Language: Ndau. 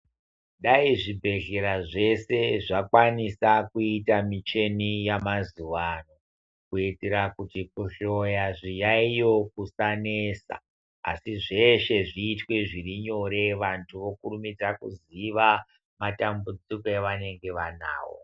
Dai zvibhedhlera zvese zvakanisa kuita micheni yamava ano, kuti kuhloya zviyaiyo kusanesa. Asi zveshe zviitwe zvirinyore vantu vokurumidza kuziva matambudziko avanenge vanavo.